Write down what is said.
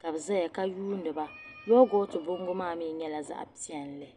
ka biʒaya ka yuuniba yoogot bɔŋgo mi nyɛla zaɣi piɛli